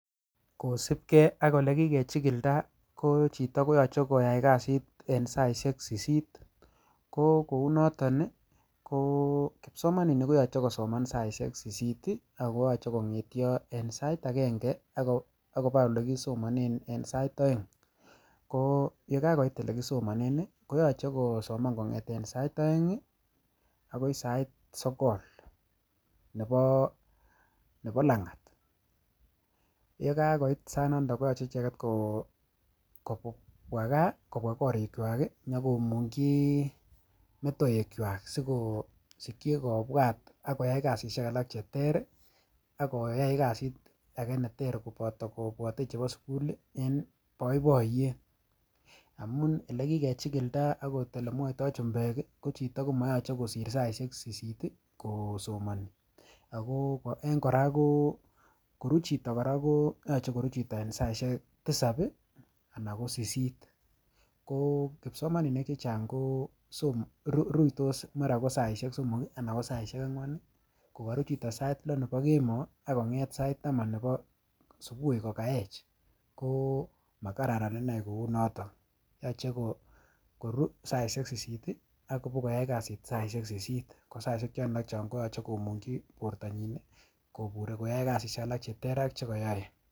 Kosib kee ak elekikechikilda kochito koyoche koyai kasishek en saishek sisit ko kounoton ii ko kipsomaninik koyoche kosoman saishek sisit ii ak koyoche kongetyo en sait agenge akoba elekisomonen en sait oeng, ko ye kakoit olekisomonen ii koyoche kosoman kongeten sait oeng ii akoi sait sogol nebo langat yekakoit sainoto koyoche icheket kobwaa kaa kobwaa korikwak ii nyokomungchi metoekwak sikosikchi kobwat koyai kasishek alak cheter ak koyai kasit ake neter koboto kobwote chebo sukul en boiboiyet, amun elekikechikilda akot elemwoito chumbek ii kochito komoyoche kosir saishek sisit ii kosomoni ako en koraa ko koru chito koraa ko yoche koru chito en saishek tisab anan kosisit ko kipsomaninik chechang koruitos mara saishek somok anan ko saishek angwan kokoru chito sait lo nebo kemoo ak konget sait taman nebo subui kokoech ko makararan inei kounoto yoche koru saishek sisit ii ak bakoyai kasit saishek sisit, kosaishek chon alak koyoche komungchi bortanyin ii koburi koyoe kasishek alak cheter ak chekoyoe.